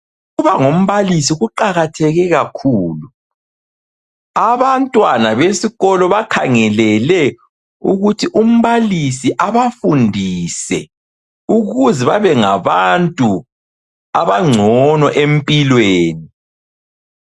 Ukuba ngumbalisi kuqakatheke kakhulu, Abantwana besikolo bakhangelele ukuthi umbalisi abafundise ukuze babe ngabantu abangcono empilweni